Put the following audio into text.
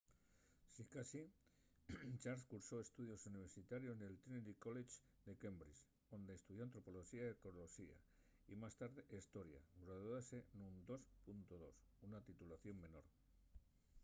sicasí charles cursó estudios universitarios nel trinity college de cambridge onde estudió antropoloxía y arqueoloxía y más tarde hestoria; graduóse nun 2:2 una titulación menor